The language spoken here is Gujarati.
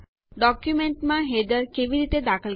ડોક્યુંમેન્ટોમાં હેડરો કેવી રીતે દાખલ કરવા